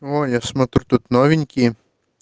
о я смотрю тут новенькие